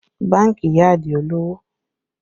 Bánkì yá Adio lowo